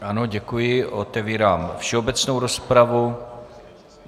Ano, děkuji, otevírám všeobecnou rozpravu.